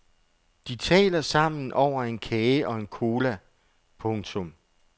De taler sammen over en kage og en cola. punktum